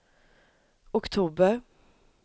oktober